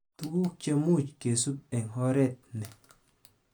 Tuguk chemuch kesub eng oret ni